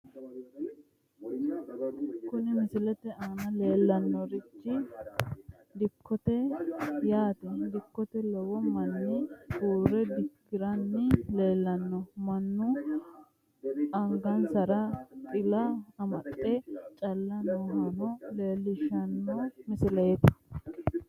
Kuni misilete aana leellanni noorichi dikkote yaate, dikkote lowo manni uurre dikkiranni leellanno. mannu angansara xila amaxxe caalle noohano leellishshanno misileeti.